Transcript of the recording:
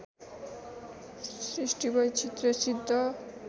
सृष्टिवैचित्र्य सिद्ध